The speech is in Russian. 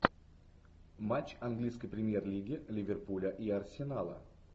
матч английской премьер лиги ливерпуля и арсенала